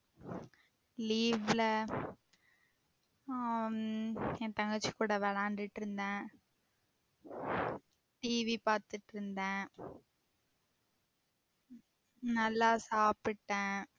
Leave ல ஆஹ் என் தங்கச்சி கூட விளையாண்டுட்டு இருந்தேன் TV பாத்திட்டு இருந்தேன் நல்ல சாப்பிட்டேன்